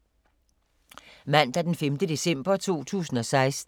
Mandag d. 5. december 2016